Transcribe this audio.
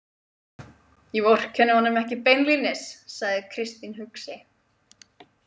Ég vorkenni honum ekki beinlínis, sagði Kristín hugsi.